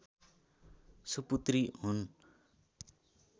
सुपुत्री हुन्